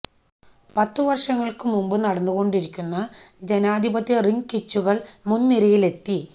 പത്ത് വർഷങ്ങൾക്ക് മുമ്പ് നടന്നുകൊണ്ടിരിക്കുന്ന ജനാധിപത്യ റിംഗ് കിച്ചുകൾ മുൻനിരയിലെത്തി